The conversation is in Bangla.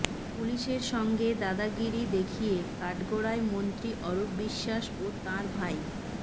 পুলিসের সঙ্গে দাদাগিরি দেখিয়ে কাঠগড়ায় মন্ত্রী অরূপ বিশ্বাস ও তাঁর ভাই